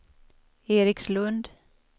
Erikslund